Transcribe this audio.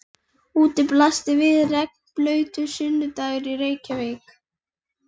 Úti blasir við regnblautur sunnudagur í Reykjavík.